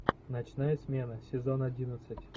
ночная смена сезон одиннадцать